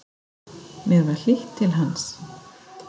Mér var hlýtt til hans.